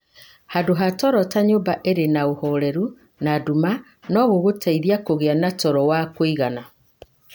Handũ ha toro ta nyũmba ĩrĩ na ũhoreru na nduma no gũgũteithie kũgĩa na toro wa kũigana.